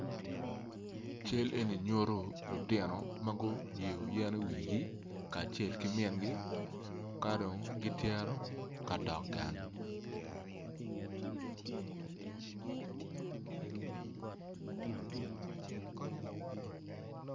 Cal eni nyuto lutino ma gutingo yen iwigi kacel ki mingi ka dong gicito kadok gang